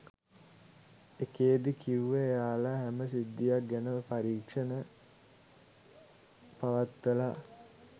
එකේදී කිව්වෙ එයාලා හැම සිද්ධියක් ගැනම පරික්ෂණ පවත්වලා